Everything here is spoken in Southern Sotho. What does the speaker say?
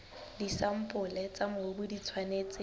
disampole tsa mobu di tshwanetse